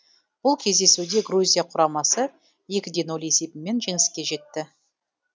бұл кездесуде грузия құрамасы екі де ноль есебімен жеңіске жетті